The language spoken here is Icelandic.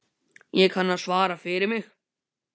Ég kann að svara fyrir mig.